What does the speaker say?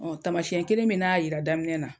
Ɔ tamasiɲɛ kelen min n'a y'a jira daminɛ na.